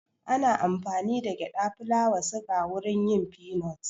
Ana amfani da gyada, fulawa ,suga wurin yin finot